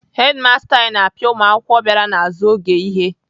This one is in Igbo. Hedimasta anyị na-apịa ụmụakwụkwọ bịara n'azụ oge ihe.